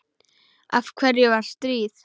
Af hverju var stríð?